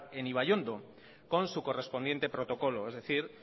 en ibaiondo con su correspondiente protocolo es decir